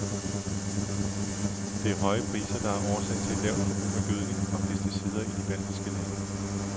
Det er høje priser, der er årsag til et lavt forbrug af gødning og pesticider i de baltiske lande.